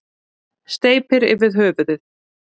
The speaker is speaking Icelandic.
Steypir yfir höfuðið.